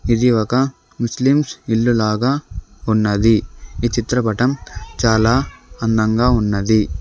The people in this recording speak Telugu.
ఇది ఒక ముస్లిమ్స్ ఇల్లు లాగా ఉన్నది ఈ చిత్రపటం చాలా అందంగా ఉన్నది.